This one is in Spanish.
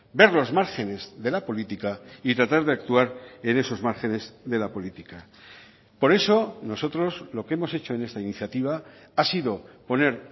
ver los márgenes de la política y tratar de actuar en esos márgenes de la política por eso nosotros lo que hemos hecho en esta iniciativa ha sido poner